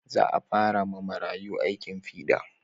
Za a fara ma marayu aikin fiɗa